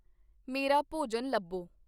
ਮੇਰਾ ਭੋਜਨ ਲੱਭੋ